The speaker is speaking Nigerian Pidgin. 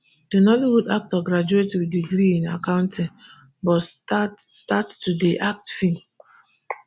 di nollywood actor graduate wit degree in accounting but start start to dey act feem